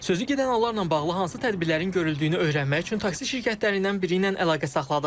Sözü gedən hallarla bağlı hansı tədbirlərin görüldüyünü öyrənmək üçün taksi şirkətlərindən biri ilə əlaqə saxladıq.